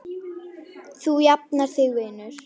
Þú jafnar þig vinur.